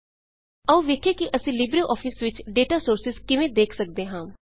ਆਉ ਵੇਖੀਏ ਕਿ ਅਸੀਂ ਲਿਬ੍ਰੇ ਆਫਿਸ ਵਿੱਚ ਡੇਟਾ ਸੋਰਸਿਜ਼ ਕਿਵੇਂ ਦੇਖ ਸੱਕਦੇ ਹਾਂ